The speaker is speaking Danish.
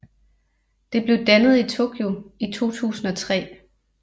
Det blev dannet i Tokyo i 2003